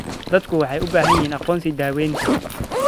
Dadku waxay u baahan yihiin aqoonsi daawaynta.